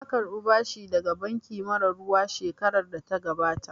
Na karɓa bashi daga banki mara ruwa shekarar da ta gabata